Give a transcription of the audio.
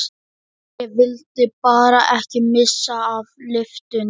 Ég vildi bara ekki missa af lyftunni!